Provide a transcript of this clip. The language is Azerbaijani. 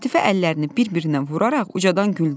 Lətifə əllərini bir-birinə vuraraq ucadan güldü.